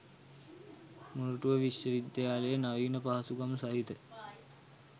මොරටුව විශ්ව වද්‍යාලයේ නවීන පහසුකම් සහිත